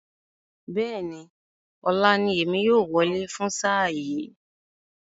Bẹ́ẹ̀ni, ọ̀la ní èmi yóò wọlé fún sáà yìí